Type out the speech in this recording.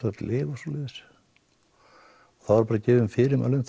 öll lyf og svoleiðis þá eru bara gefin fyrirmæli um